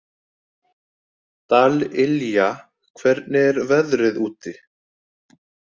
Dallilja, hvernig er veðrið úti?